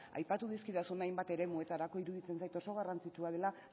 aipatu dizkidazun hainbat eremuetarako iruditzen zait oso garrantzitsua dela